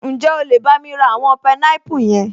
Ǹjẹ́ o lè bámi ra àwọn pineapple yẹn?